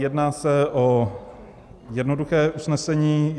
Jedná se o jednoduché usnesení.